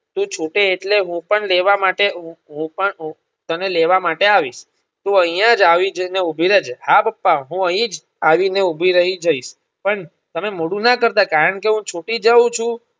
તું છૂટે એટલે હું પણ લેવા માટે હું હુંપણ હું તને લેવા માટે આવીશ તું અહીંયાજ અવિજયને ઉભી રહેજે હા પપ્પા હું અહીં જ આવીને ઉભી રહી જયશ પણ તમે મોડું ના કરતા કારણકે હુંછુટી જવું છું.